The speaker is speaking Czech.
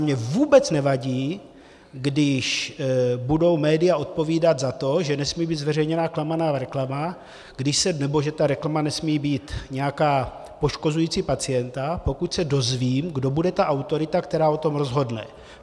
Mně vůbec nevadí, když budou média odpovídat za to, že nesmí být zveřejněna klamavá reklama nebo že ta reklama nesmí být nějaká poškozující pacienta, pokud se dozvím, kdo bude ta autorita, která o tom rozhodne.